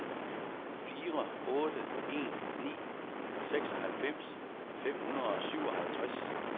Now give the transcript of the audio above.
fire otte en ni seksoghalvfems fem hundrede og syvoghalvtreds